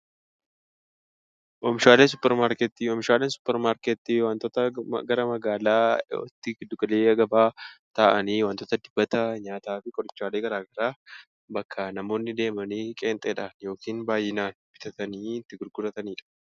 Oomishaalee Suupermaarkeetii: Oomishaaleen suupermaarkeetii waantota gara magaalaatti giddu galeessa gabaa taa'anii waantota dibataa nyaataa fi qorichaalee garaagaraa bakka namoonni deemanii qeenxeedhaan yookiin baay'inaan bitatanii itti gurguratanidha.